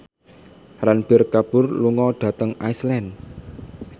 Ranbir Kapoor lunga dhateng Iceland